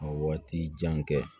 Ka waati jan kɛ